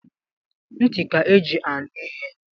Ntị ka eji anụ ihe